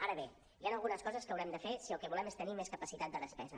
ara bé hi han algunes coses que haurem de fer si el que volem és tenir més capacitat de despesa